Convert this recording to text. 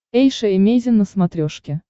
эйша эмейзин на смотрешке